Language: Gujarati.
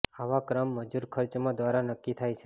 આવા ક્રમ મજૂર ખર્ચમાં દ્વારા નક્કી થાય છે